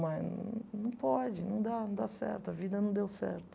Mas não pode, não dá não dá certo, a vida não deu certo.